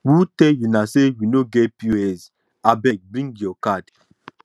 who tell una sey we no get pos abeg bring your card